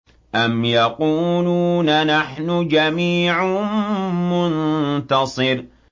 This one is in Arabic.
أَمْ يَقُولُونَ نَحْنُ جَمِيعٌ مُّنتَصِرٌ